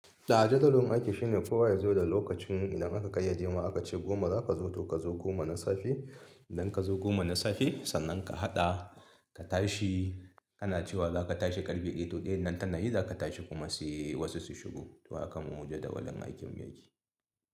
A'a jadawalin aiki shine kowa ya zo da lokacin idan aka kayyade ma aka ce goma za ka zo to ka zo goma na safe. Idan ka zo goma na safe sannan ka haɗa ka tashi ana cewa za ka tashi karfe ɗaya to ɗayan nan tana yi za ka tashi kuma sai wasu su shigo. To haka mu jadawalin aikin mu ya ke.